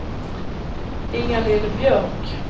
Inga-Lill Björk